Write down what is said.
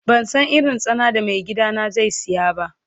Ban san irin tsana da mai gida na zai siya ba.